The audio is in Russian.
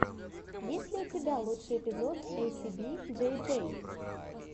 есть ли у тебя лучший эпизод эйсиби джей джей